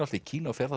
í Kína og fer